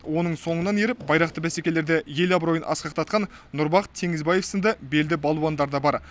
оның соңынан еріп байрақты бәсекелерде ел абыройын асқақтатқан нұрбақыт теңізбаев сынды белді балуандар да бар